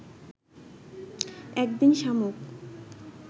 একদিন শামুক